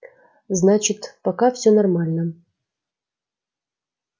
значит пока всё нормально